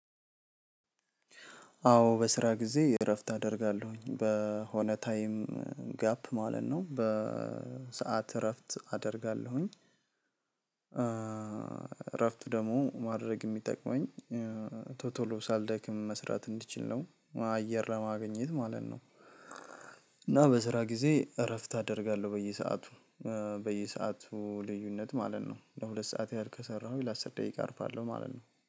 አዎ በስራ ጊዜ እረፍት አደርጋለሁኝ በሆነ ታይም ጋፕ ማለት ነው በሰአት እረፍት አደርጋለሁኝ። እረፍቱ ደግሞ ማድረግ የሚጠቅመኝ። ቶሎ ቶሎ ሳልደክም መስራት እንድችል ነው አየር ለማግኘት ማለት ነው። እና በስራ ጊዜ እረፍት አደርጋለሁ በየሰአቱ። በየሰአቱ ልዩነት ማለት ነው ለሁለት ሰዓት ያህል ከሰራሁኝ ለአስር ደቂቃ አርፋለሁ ማለት ነው